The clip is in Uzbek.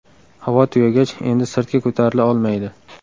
Havo tugagach, endi sirtga ko‘tarila olmaydi.